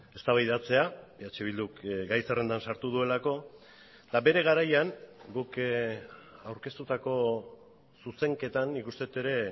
eztabaidatzea eh bilduk gai zerrendan sartu duelako eta bere garaian guk aurkeztutako zuzenketan nik uste dut ere